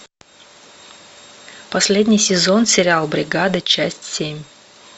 последний сезон сериал бригада часть семь